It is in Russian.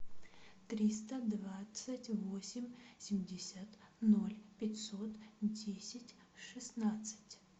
триста двадцать восемь семьдесят ноль пятьсот десять шестнадцать